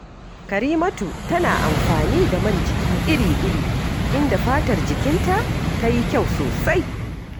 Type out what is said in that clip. Karimatu tana amfani da man jiki iri-iri, inda fatar jikinta ta yi kyau sosai